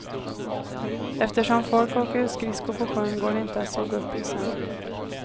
Eftersom folk åker skridsko på sjön, går det inte att såga upp isen.